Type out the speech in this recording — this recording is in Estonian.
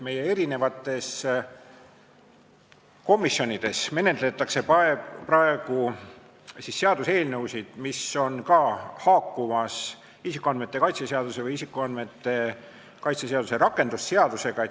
Meie mitmes komisjonis menetletakse praegu seaduseelnõusid, mis haakuvad isikuandmete kaitse seadusega või isikuandmete kaitse seaduse rakendamise seadusega.